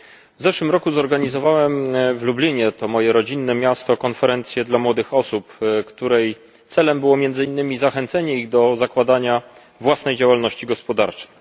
W zeszłym roku zorganizowałem w Lublinie to moje rodzinne miasto konferencję dla młodych osób, której celem było między innymi zachęcenie ich do zakładania własnej działalności gospodarczej.